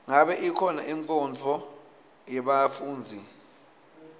ngabe ikhona inkonzo yebafundzi